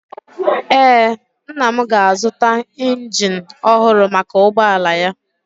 Ee, nna m ga-azụta injin ọhụrụ maka ụgbọala ya.